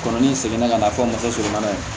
Kɔrɔ ni n seginna ka na fɔ n ka muso surumanin ye